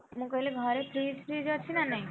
ମୁଁ କହିଲି ଘରେ fridge fridge ଅଛି ନା ନାହିଁ?